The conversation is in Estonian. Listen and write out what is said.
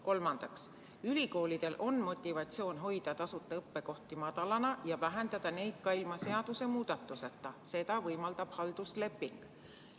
Kolmandaks, ülikoolidel on motivatsioon hoida tasuta õppekohtade arvu madalana ja vähendada neid kohti ka ilma seadusemuudatuseta, seda võimaldab haldusleping.